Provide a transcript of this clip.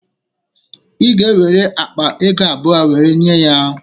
Ị ga-ewere akpa ego abụọ wee nye ya